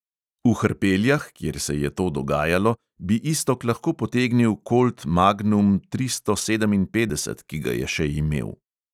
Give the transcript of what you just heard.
V hrpeljah, kjer se je to dogajalo, bi iztok lahko potegnil kolt magnum tristo sedeminpetdeset, ki ga je še imel.